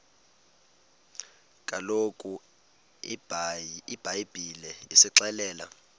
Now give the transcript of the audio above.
kaloku ibhayibhile isixelela